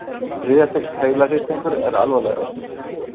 Þriðja stigs heilahristingur er alvarlegastur.